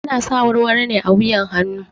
Ana sa warwaro ne a wuyan hanu